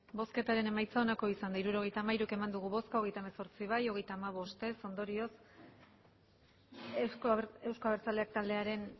hirurogeita hamairu eman dugu bozka hogeita hemezortzi bai hogeita hamabost ez ondorioz euzko abertzaleak taldearen